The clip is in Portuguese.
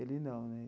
Ele não, né?